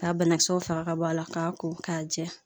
K'a banakisɛw faga ka bɔ a la k'a ko k'a jɛ